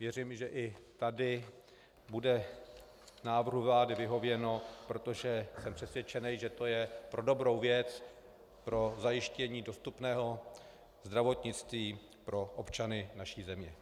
Věřím, že i tady bude návrhu vlády vyhověno, protože jsem přesvědčen, že to je pro dobrou věc, pro zajištění dostupného zdravotnictví pro občany naší země.